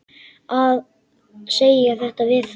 Að segja þetta við hana.